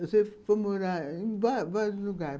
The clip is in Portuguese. Você foi morar em vários vários lugares.